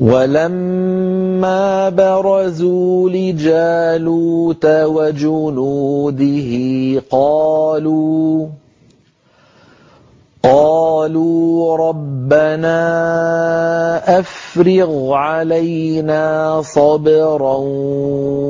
وَلَمَّا بَرَزُوا لِجَالُوتَ وَجُنُودِهِ قَالُوا رَبَّنَا أَفْرِغْ عَلَيْنَا صَبْرًا